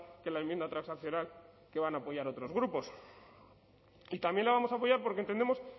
que la enmienda transaccional que van a apoyar otros grupos y también la vamos a apoyar porque entendemos